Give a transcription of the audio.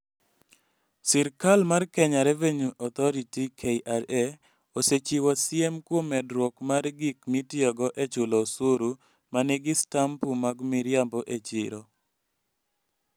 Sirkal mar Kenya Revenue Authority (KRA) osechiwo siem kuom medruok mar gik mitiyogo e chulo osuru ma nigi stampu mag miriambo e chiro.